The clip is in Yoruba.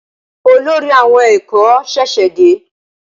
Olórí àwon èkó ṣèṣè dé